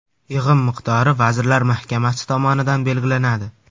Yig‘im miqdori Vazirlar Mahkamasi tomonidan belgilanadi.